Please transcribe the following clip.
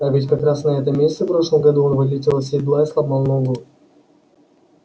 а ведь как раз на этом месте в прошлом году он вылетел из седла и сломал ногу